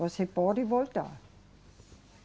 Você pode voltar.